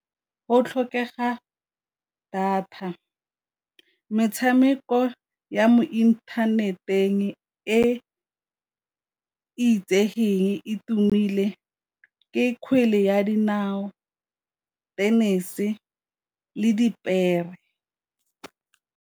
Go tlhokega data, metshameko ya mo inthaneteng e itsegeng e tumile ke kgwele ya dinao, tennis le dipere.